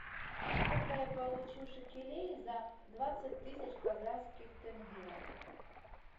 сколько я получу шекелей за двадцать тысяч казахских тенге